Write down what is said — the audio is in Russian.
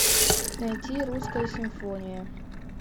найти русская симфония